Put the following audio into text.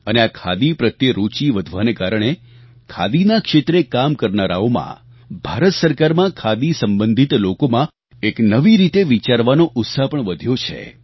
અને આ ખાદી પ્રત્યે રૂચી વધવાને કારણે ખાદીના ક્ષેત્રે કામ કરનારાઓમાં ભારત સરકારમાં ખાદી સંબંધિત લોકોમાં એક નવી રીતે વિચારવાનો ઉત્સાહ પણ વધ્યો છે